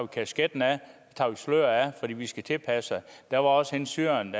kasketten eller tager sløret af fordi de vil tilpasse sig der var også hende syreren